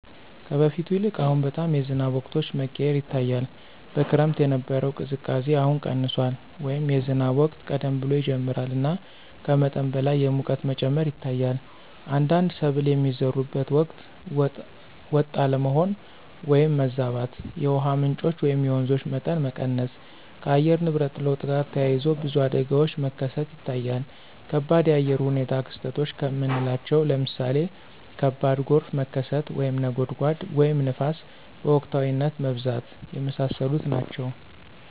ከበፊቱ ይልቅ አሁን በጣም የዝናብ ወቅቶች መቀያየር ይታያል። በክረምት የነበረው ቅዝቃዜ አሁን ቀንሷል” ወይም “የዝናብ ወቅት ቀደም ብሎ ይጀምራል እና ከመጠን በላይ የሙቀት መጨመር ይታያል። አንዳንድ ሰብል የሚዘሩበት ወቅት ወጥ አለመሆን (ማዛባት)።የውሃ ምንጮች (የወንዞች) መጠን መቀነስ። ከአየር ንብረት ለውጥ ጋር ተያይዞ ብዙ አደጋዎች መከሰት ይታያል ከባድ የአየር ሁኔታ ክስተቶች ከምናለቸው ለምሳሌ ከባድ ጎርፍ መከሰት፣ (ነጎድጓድ) ወይም ንፋስ በወቅታዊነት መብዛት። የመሳሰሉት ናቸው።